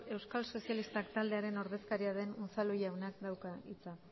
euskal sozialistak taldearen ordezkaria den unzalu jaunak dauka hitza